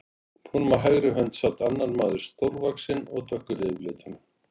Honum á hægri hönd sat annar maður, stórvaxinn og dökkur yfirlitum.